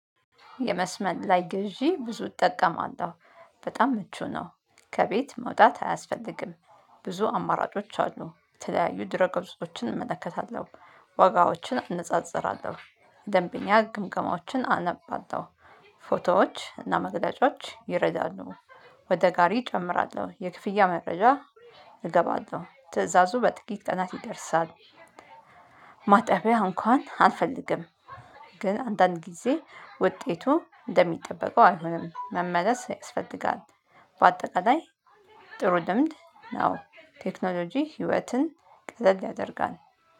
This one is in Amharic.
የመስመር ላይ ግዢ ብዙ እጠቀማለሁ በጣም ምቹ ነው ከቤት መውጣት አያስፈልግም። ብዙ አማራጮች አሉ የተለያዩ ድረ ገዝቶችን እመለከታለሁ። ዋጋዎችን አነጻጽራለሁ ደንበኛ ግምገማዎችን አነባታለሁ። ፎቶዎች እና መረጃዎች ይረዳሉ። ወደ ጋሪ እጨምራለሁ የክፍያ መረጃ እገባለሁ ትእዛዙ በጥቂት ቀናት ይደርሳል። ማጠቢያ እንኳን አልፈልግም። ግን አንዳንድ ጊዜ ውጤቱ እንደሚጠበቀው አልሆንም መመለስ ያስፈልጋል። በአጠቃላይ ጥሩ ልምድ ነው። ቴክኖሎጂ ህይወትን ቅልል ያደርጋል